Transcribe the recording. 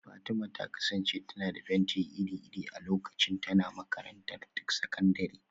Fatima ta kasance tana da fenti iri-iri a lokacin tana makarantar sakandare